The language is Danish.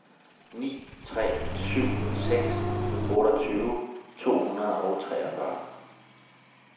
ni tre syv seks otteogtyve to hundrede og treogfyrre